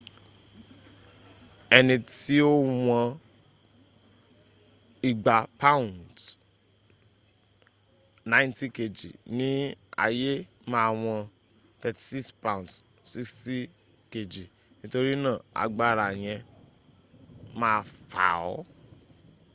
ẹni tí ó wọn 200 pounds 90kg ní ayé ma wọn 36 pounds 16kg. nítorínà agbára yẹn ma fà ọ́